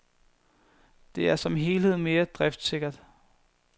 Det er som helhed mere driftssikkert.